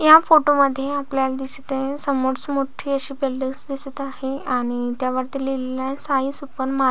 या फोटो मध्ये आपल्याला दिसत आहे समोर मोठी अशी बिल्डींगस अशी दिसत आहे आणि त्या वरती लिहलेले आहे साई सुपर मार --